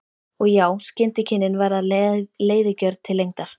Og já, skyndikynnin verða leiðigjörn til lengdar.